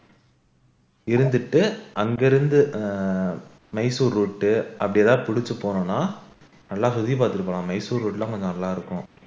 இருந்துட்டு அங்கிருந்து மைசூர் route அப்படி எதாவது புடிச்சு போனோம்னா நல்லா சுத்தி பார்த்துட்டு போன மைசூர் route லாம் கொஞ்சம் நல்லா இருக்கும்